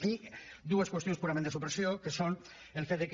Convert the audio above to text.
i dues qüestions purament de supressió que són el fet que